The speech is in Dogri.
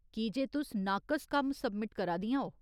कीजे तुस नाकस कम्म सब्मिट करा दियां ओ।